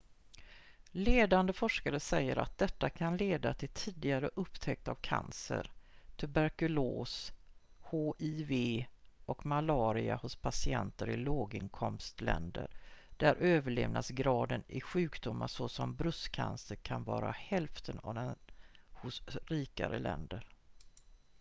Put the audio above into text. ledande forskare säger att detta kan leda till tidigare upptäckt av cancer tuberkulos hiv och malaria hos patienter i låginkomstländer där överlevnadsgraden i sjukdomar såsom bröstcancer kan vara hälften av den hos rikare länder